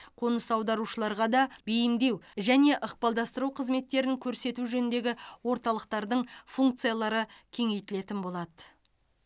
қоныс аударушыларға да бейімдеу және ықпалдастыру қызметтерін көрсету жөніндегі орталықтардың функциялары кеңейтілетін болады